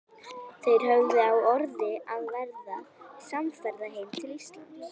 Þeir höfðu á orði að verða samferða heim til Íslands.